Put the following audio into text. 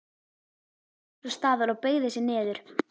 Nam svo staðar og beygði sig niður.